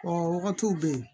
Ɔ wagatiw bɛ yen